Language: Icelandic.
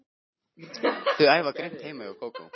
Þau æfa grimmt heima hjá Kókó.